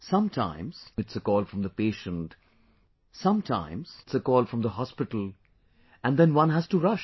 Sometimes it's a call from the patient, sometimes its a call from the hospital and then one has to rush